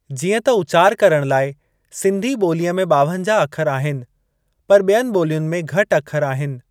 जीअं त उचार करणु लाइ सिंधी ॿोलीअ में ॿावंजह अखरि आहिनि पर ॿियनि ॿोलियुनि में घटि अखरि आहिनि।